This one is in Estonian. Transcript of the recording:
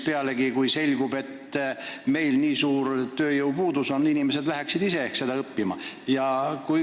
Pealegi, kui selgub, et seal valdkonnas nii suur tööjõupuudus on, siis inimesed läheksid ehk ise seda eriala õppima.